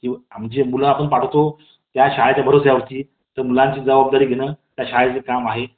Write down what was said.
तर मित्रांनो, यांनतर आपण मार्गदर्शक तत्त्वांचा अभ्यास करूया. तर मित्रांनो आता आपण मार्गदर्शक तत्त्वांचा अभ्यास करणार आहोत.